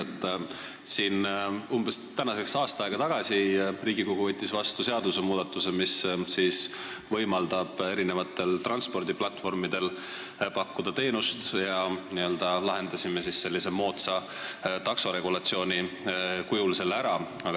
Tänaseks umbes aasta aega tagasi võttis Riigikogu vastu seadusmuudatuse, mis võimaldab eri transpordiplatvormidel pakkuda teenust, me lahendasime selle sellise moodsa taksoregulatsiooni kujul ära.